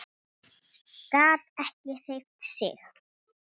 Gat ekki hreyft sig.